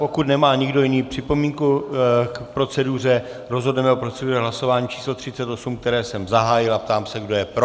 Pokud nemá nikdo jiný připomínku k proceduře, rozhodneme o proceduře hlasováním číslo 38, které jsem zahájil, a ptám se, kdo je pro.